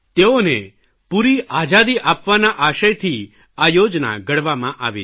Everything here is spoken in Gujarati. તેઓને પૂરી આઝાદી આપવાના આશયથી આ યોજના ઘડવામાં આવી છે